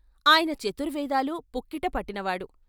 ఆయన చతుర్వేదాలు పుక్కిట పట్టినవాడు.